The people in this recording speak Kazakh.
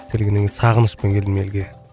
келгеннен кейін сағынышпен келдім елге